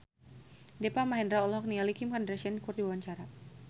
Deva Mahendra olohok ningali Kim Kardashian keur diwawancara